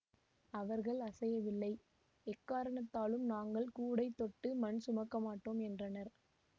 அவர்கள் அசையவில்லை எக்காரணத்தாலும் நாங்கள் கூடை தொட்டு மண் சுமக்கமாட்டோம் என்றனர்